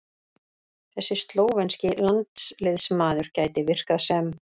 Þessi slóvenski landsliðsmaður gæti virkað sem